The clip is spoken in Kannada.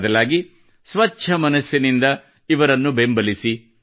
ಬದಲಾಗಿ ಸ್ವಚ್ಛ ಮನಸ್ಸಿನಿಂದ ಇವರಿಗೆ ಬೆಂಬಲಿಸಿ